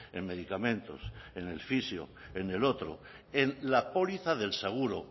en medicamentos en el fisio en el otro en la póliza del seguro